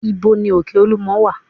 Ìbo ní òkè olúmo wà?